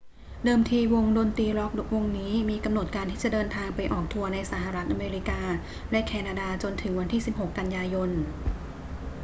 เดิมทีวงดนตรีร็อกวงนี้มีกำหนดการที่จะเดินทางไปออกทัวร์ในสหรัฐอเมริกาและแคนาดาจนถึงวันที่ 16 กันยายน